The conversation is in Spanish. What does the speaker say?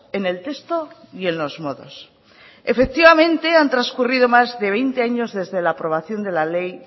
en el texto y en los modos efectivamente han transcurrido más de veinte años desde la aprobación de la ley